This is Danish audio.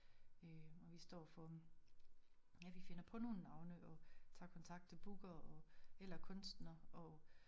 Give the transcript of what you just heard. Øh og vi står for ja vi finder på nogle navne og tager kontakt til bookere og eller kunstnere og